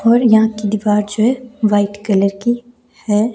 और यहां की दिवार जो है वाइट कलर की हैं।